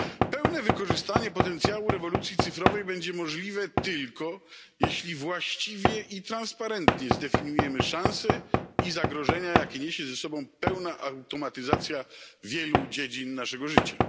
Pełne wykorzystanie potencjału rewolucji cyfrowej będzie możliwe tylko, jeśli właściwie i transparentnie zdefiniujemy szanse i zagrożenia, jakie niesie ze sobą pełna automatyzacja wielu dziedzin naszego życia.